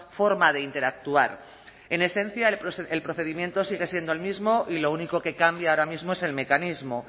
forma de interactuar en esencia el procedimiento sigue siendo el mismo y lo único que cambia ahora mismo es el mecanismo